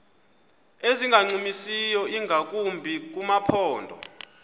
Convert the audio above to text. ezingancumisiyo ingakumbi kumaphondo